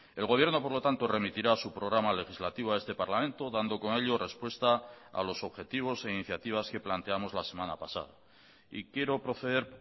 el gobierno por lo tanto remitirá su programa legislativo a este parlamento dando con ello respuesta a los objetivos e iniciativas que planteamos la semana pasada y quiero proceder